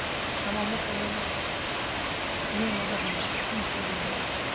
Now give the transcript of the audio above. шамамен примерно бір миллионға жақын минусқа кірем да мен